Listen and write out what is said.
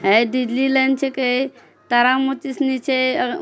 है डिजलीलैंड छकै तारा माची सनी छै। अगा--